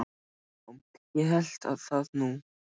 Og já, ég hélt það nú.